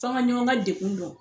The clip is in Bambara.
F'an ga ɲɔgɔn ga degun dɔn